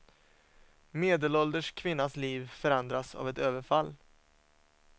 Medelålders kvinnas liv förändras av ett överfall.